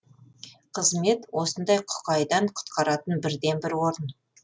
қызмет осындай құқайдан құтқаратын бірден бір орын